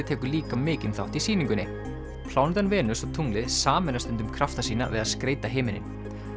tekur líka mikinn þátt í sýningunni plánetan Venus og tunglið sameina stundum krafta sína við að skreyta himininn